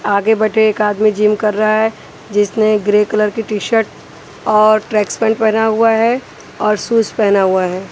आगे बैठे एक आदमी जिम कर रहा है जिसने ग्रे कलर की टी शर्ट और ट्रैक पेंट्स पहना हुआ है और शूज पहना हुआ है।